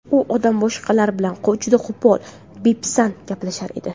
U odam boshqalar bilan juda qo‘pol, bepisand gaplashar edi.